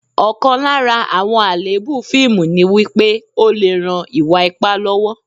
Ọ̀kan lára àwọn àléébù fíìmù ni wípé, ó lè ran ìwà ipá lọ́wọ́